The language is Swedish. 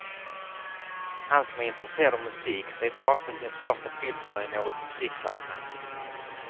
Han som är intresserad av musik sveper ofta sin första pilsner i något musiksammanhang.